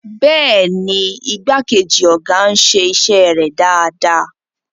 Bẹ́ẹ̀ni, igbákejì ọ̀gá ń ṣe iṣẹ́ rẹ̀ dáadáa.